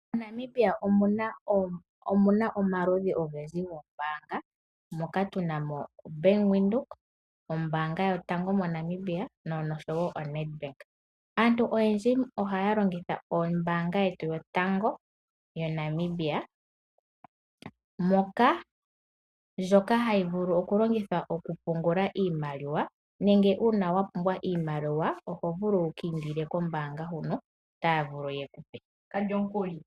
MoNamibia otunamo omaludhi ogendji goombaanga. Moka tunamo oBank Windhoek, nombaanga yotango moNamibianosho wo oNedbank . Aantu oyendji ohaya longitha ombaanga yetu yotango yaNamibia ndjoka hayi vulu okulongithwa okupungula iimaliwa nenge uuna wapumbwa iimaliwa ohovulu wu kiindila kombaanga ndjino otaya vulu yekupe.